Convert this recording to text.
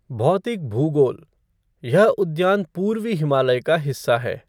भौतिक भूगोलः यह उद्यान पूर्वी हिमालय का हिस्सा है।